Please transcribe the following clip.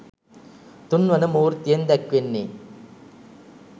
තුන් වන මූර්තියෙන් දැක්වෙන්නේ